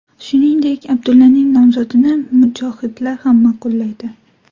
Shuningdek, Abdullaning nomzodini mujohidlar ham ma’qullaydi.